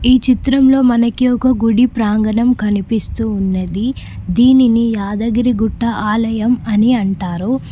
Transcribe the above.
ఈ చిత్రంలో మనకి ఒక గుడి ప్రాంగణం కనిపిస్తూ ఉన్నది దీనిని యాదగిరిగుట్ట ఆలయం అని అంటారు.